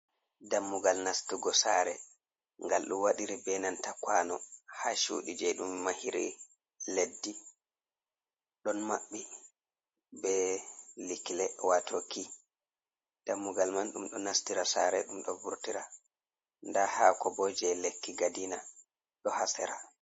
Dammugal nastugo sare gal ɗo wadiri be nanta kwano ha cuɗi je ɗum mahiri leddi, don maɓɓi be likle wato kiy dammugal man ɗum ɗo nastira sare ɗum ɗo vurtira nda hako bo je lekki gadina ɗo ha sera.